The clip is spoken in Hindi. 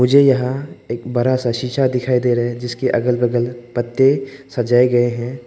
मुझे यहां एक बड़ा सा शीशा दिखाई दे रहे है जिसकी अगल बगल पत्ते सजाए गए हैं।